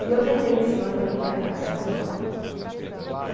E eu tentei, nesse um ano, me readaptar em São Paulo.